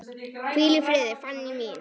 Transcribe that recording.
Hvíl í friði, Fanný mín.